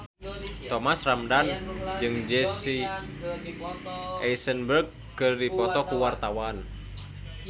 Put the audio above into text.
Thomas Ramdhan jeung Jesse Eisenberg keur dipoto ku wartawan